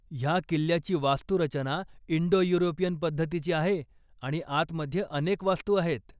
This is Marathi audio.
ह्या किल्ल्याची वास्तुरचना इंडो युरोपियन पद्धतीची आहे आणि आतमध्ये अनेक वास्तू आहेत.